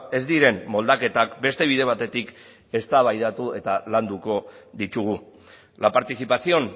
ez diren moldaketak beste bide batetik eztabaidatu eta landuko ditugu la participación